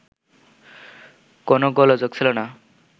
কোন গোলযোগ ছিল না